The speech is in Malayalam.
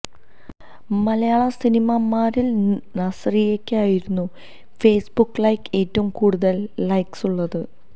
മലയാള സിനിമാ നടിമാരിൽ നസ്റിയയ്ക്കായിരുന്നു ഫേസ്ബുക്ക് ലൈക്ക് ഏറ്റവും കൂടുതൽ ലൈക്ക്സുള്ളത്